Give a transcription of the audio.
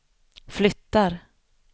flyttar